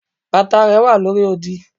bàtà rẹ wa lórí òdì